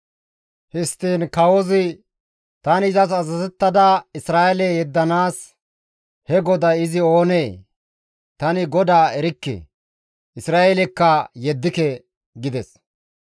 Histtiin kawozi, «Tani izas azazettada Isra7eele yeddanaas he GODAY izi oonee? Tani Godaa erikke; Isra7eelekka yeddike» gides.